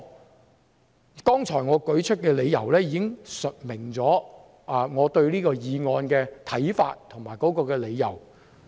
我剛才舉出的理由，已經闡明了我對此項議案的看法。